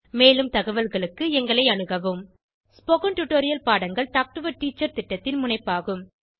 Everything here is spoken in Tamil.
மேலும் தகவல்களுக்கு எங்களை அணுகவும் ஸ்போகன் டுடோரியல் பாடங்கள் டாக் டு எ டீச்சர் திட்டத்தின் முனைப்பாகும்